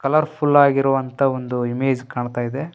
Colourful ಆಗಿರುವಂತಹ ಒಂದು image ಕಾಣ್ತಾ ಇದೆ.